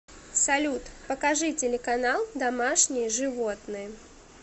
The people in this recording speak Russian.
салют покажи телеканал домашние животные